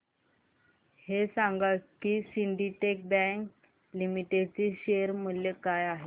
हे सांगा की सिंडीकेट बँक लिमिटेड चे शेअर मूल्य काय आहे